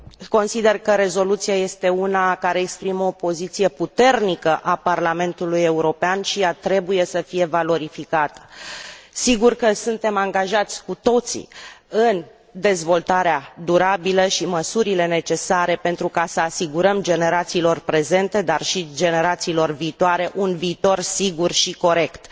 Consider că rezoluția este una care exprimă o poziție puternică a Parlamentului European și ea trebuie să fie valorificată. Sigur că suntem angajați cu toții în dezvoltarea durabilă și măsurile necesare pentru a asigura generațiilor prezente, dar și generațiilor viitoare, un viitor sigur și corect.